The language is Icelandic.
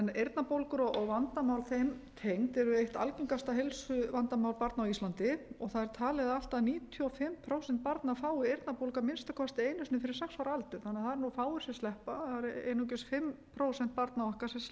eyrnabólgur og vandamál þeim tengd eru eitt algengasta heilsuvandamál barna á íslandi það er talið að allt að níutíu og fimm prósent barna fái eyrnabólgu að minnsta kosti einu sinni fyrir sex ára aldur þannig að það eru fáir sem sleppa það eru einungis fimm prósent barna okkar sem